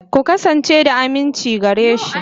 Ku kasance da aminci gare shi.